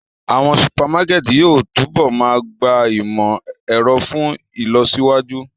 Awọn supamakẹti yóò tunbọ máa gba imọ-ẹrọ fun ilọsiwaju.